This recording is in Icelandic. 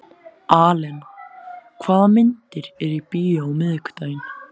Alena, hvaða myndir eru í bíó á miðvikudaginn?